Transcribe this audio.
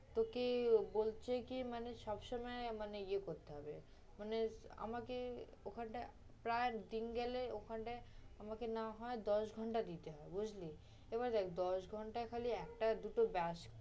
তোকে বলছি কি মানে সবসময় মানে ইয়ে করতে হবে, মানে আমাকে ওখানটায় প্রায় দিন গেলে ওখানটায় আমাকে নেওয়া হয় দশ ঘন্টা দিতে হয় বুঝলি। এবার দেখ দশ ঘন্টায় খালি একটা দুটো class